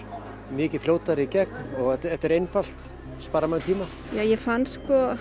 mikið fljótari í gegn og þetta er einfalt sparar manni tíma ég fann sko